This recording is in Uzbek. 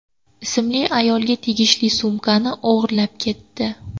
ismli ayolga tegishli sumkani o‘g‘irlab ketdi.